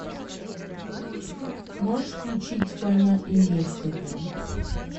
можешь включить война и мир хд